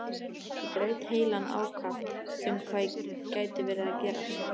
Ég braut heilann ákaft um hvað gæti verið að gerast.